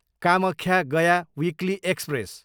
Kamakhya, Gaya weekly express